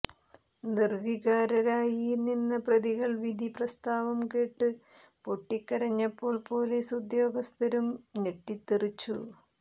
നിർവികാരരായി നിന്ന പ്രതികൾ വിധി പ്രസ്താവംകേട്ട് പൊട്ടിക്കരഞ്ഞപ്പോൾ പോലീസ് ഉദ്യോഗസ്ഥരും ഞെട്ടിത്തെറിച്ചു